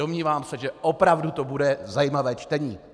Domnívám se, že opravdu to bude zajímavé čtení.